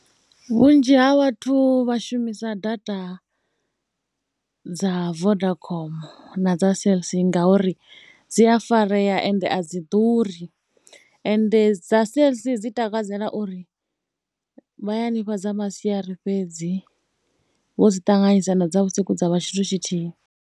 Vhunzhi ha vhathu vha shumisa data dza Vodacom na dza CellC ngauri dzi a farea ende a dzi ḓuri. Ende dza CellC dzi takalela uri vha ya ni fha dza masiari fhedzi vho dzi ṱanganyisa na dza vhusiku dza vha tshithu tshithihi.